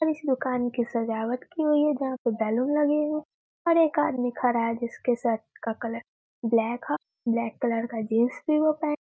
और इस दुकान की सजावट की हुई है जहाँ पे बैलून लगे हैं और एक आदमी खड़ा है जिसके शर्ट का कलर ब्लैक ह ब्लैक कलर का जीन्स भी वो पहन --